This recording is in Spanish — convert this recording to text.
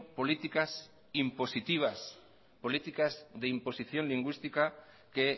políticas impositivas políticas de imposición lingüística que